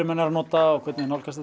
menn eru að nota og hvernig nálgast